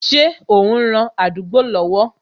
Ṣé o n ran àdúgbò lọ́wọ́